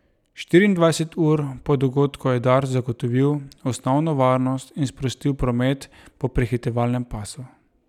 Štiriindvajset ur po dogodku je Dars zagotovil osnovno varnost in sprostil promet po prehitevalnem pasu.